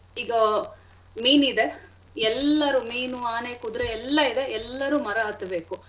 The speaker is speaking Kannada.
ಇಗಾ ಮೀನ್ ಇದೆ ಎಲ್ಲಾರು ಮೀನು ಆನೆ ಕುದ್ರೆ ಎಲ್ಲಾ ಇದೆ ಎಲ್ಲಾರೂ ಮರ ಹತ್ಬೇಕು.